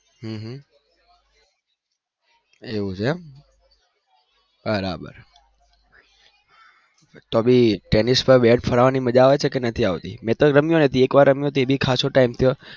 હમ હમ એવું છે એમ બરાબર તો બી ટેનીસ પર બેટ ફરાવાની મજા આવે છે કે નથી આવતી મેં તો રમી હતી એક વાર રમીયો એ ભી ખાસો time થયો